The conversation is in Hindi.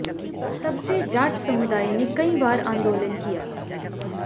तब से जाट समुदाय ने कई बार आंदोलन किया